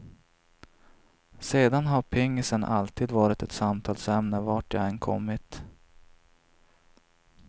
Sedan har pingisen alltid varit ett samtalsämne vart jag än kommit.